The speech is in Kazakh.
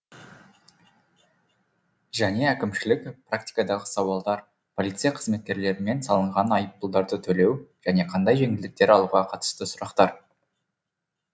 және әкімшілік практикадағы сауалдар полиция қызметкерлерімен салынған айыппұлдарды төлеу және қандай жеңілдіктер алуға қатысты сұрақтар